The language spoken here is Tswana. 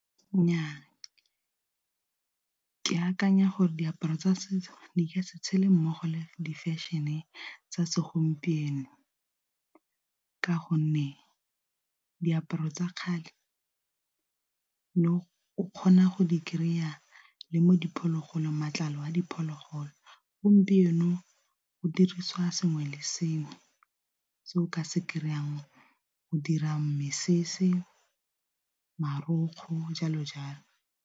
Nnyaa ke akanya gore diaparo tsa setso di ka se tshele mmogo le di fashion-e tsa segompieno ka gonne, diaparo tsa kgale ne o kgona go di kry-a le mo diphologolong matlalo a diphologolo gompieno go dirisiwa sengwe le sengwe se o ka se kry-a go dira mesese marokgwe jalo jalo.